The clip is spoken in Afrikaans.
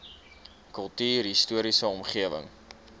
kultuurhis toriese omgewing